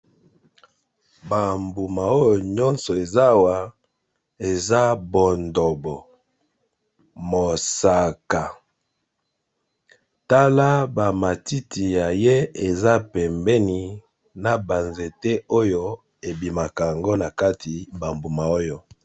Bambuma oyo nazali komona balakisinga awa eza ya langi ya mosaka namoni pe banzete na bamatiti nango wana pembeni